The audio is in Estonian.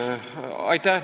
Aitäh!